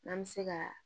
N'an bɛ se ka